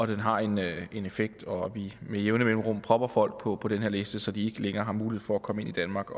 det har en en effekt og vi sætter med jævne mellemrum folk på den her liste så de ikke længere har mulighed for at komme ind i danmark